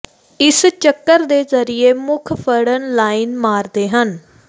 ਇਸ ਚੱਕਰ ਦੇ ਜ਼ਰੀਏ ਮੁੱਖ ਫੜਨ ਲਾਈਨ ਮਾਰਦੇ ਹਨ